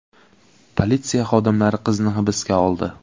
Politsiya xodimlari qizni hibsga oldi.